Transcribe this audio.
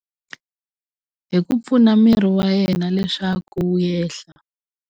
Hi ku pfuna miri wa yena leswaku wu yehla.